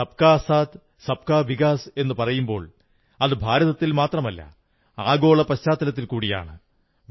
സബ്കാ സാഥ്സബ്കാ വികാസ് എന്നു പറയുമ്പോൾ അത് ഭാരതത്തിൽ മാത്രമല്ല ആഗോള പശ്ചാത്തലത്തിൽ കൂടിയാണ്